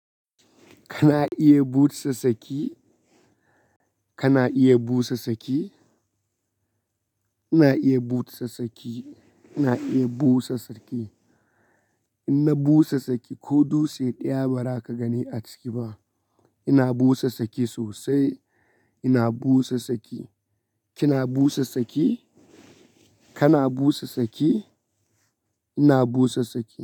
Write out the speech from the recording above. Kana iya busa tsaki? Kana iya busa saki? Ina iya busa saki. Ina iya busa tsaki. Ina busa tsaki ko dutse ɗaya ba za ka gani a ciki ba. Ina busa saki sosai. Ina busa saki. Kina busa saki? Kana busa saki? Ina busa tsaki.